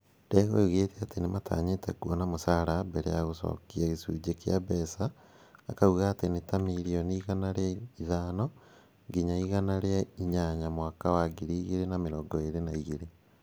Ndegwa oigĩte atĩ matanyĩte kuona mũcara mbere ya gũcokia gĩcunjĩ kĩa mbeca. Akauga atĩ nĩ ta mirioni igana rĩa ithano nginya igana rĩa inyanya mwaka wa 2022.